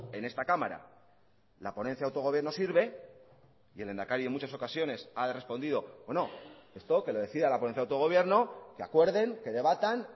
en esta cámara la ponencia de autogobierno sirve y el lehendakari en muchas ocasiones ha respondido o no esto que lo decida la ponencia de autogobierno que acuerden que debatan